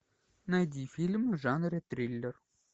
найди фильм в жанре триллер